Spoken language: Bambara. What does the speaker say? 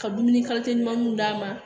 Ka dumuni ɲumaninw d'a ma